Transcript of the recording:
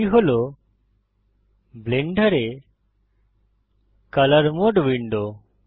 এটি হল ব্লেন্ডারে কলর মোড উইন্ডো